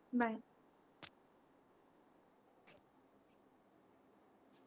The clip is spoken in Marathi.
bye